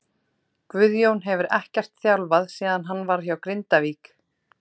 Guðjón hefur ekkert þjálfað síðan hann var hjá Grindavík.